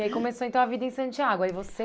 E aí começou então a vida em Santiago. Aí você